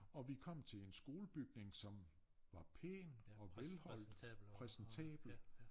Og vi kom til en skolebygning som var pæn og velholdt præsentabel